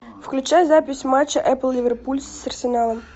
включай запись матча эпл ливерпуль с арсеналом